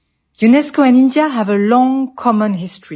UNESCO and India have a long common history